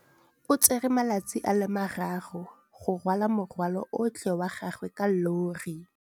O tsere malatsi a le marraro go rwala morwalo otlhe wa gagwe ka llori.